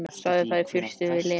Sagði það í fyrstu við Lenu.